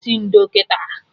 Sị ndo kịta!